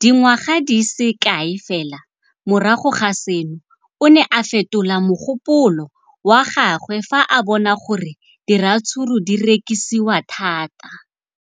dingwaga di se kae fela morago ga seno, o ne a fetola mogopolo wa gagwe fa a bona gore diratsuru di rekisiwa thata.